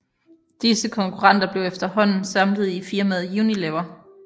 Disse konkurrenter blev efterhånden samlet i firmaet Unilever